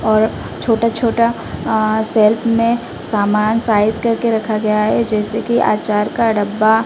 और छोटा छोटा अ सेल्फ में समान साइज करके रखा गया है जैसे कि अचार का डब्बा--